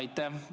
Aitäh!